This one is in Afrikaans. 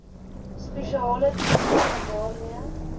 spesiale toestelle waarmee